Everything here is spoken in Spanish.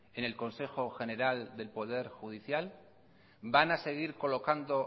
en el consejo general del poder judicial van a seguir colocando